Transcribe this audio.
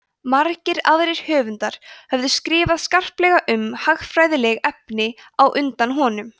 margir aðrir höfundar höfðu skrifað skarplega um hagfræðileg efni á undan honum